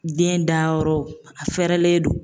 Den dayɔrɔ, a fɛɛrɛlen don.